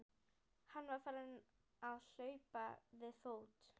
Hann var farinn að hlaupa við fót.